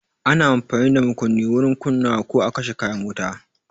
Ana amfani da makunni wurin kunnawa ko a kashe kayan wuta.